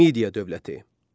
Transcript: Midiya dövləti.